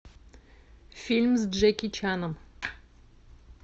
фильм с джеки чаном